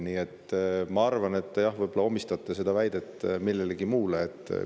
Ma arvan, et see, mille te oma väites omistasite, on millestki muust.